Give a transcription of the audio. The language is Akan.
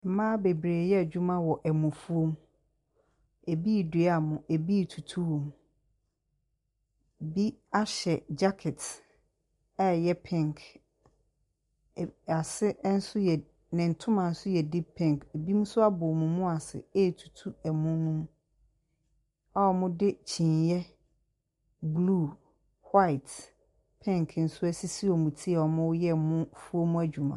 Mmaa bebree yɛ adwuma wɔ mofuom. Ebi redua mo. Ebi retutu hɔ. Bi ahyɛ gyakɛt a ɛyɛ pink. Ase nso yɛ ne ntoma deep pink. Ebi nso abɔ wɔn mu ase retu ɛmo no a wɔde kyiniiɛ blue, white, pink nso asisi wɔn ti a wɔreyɛ mofuom adwuma.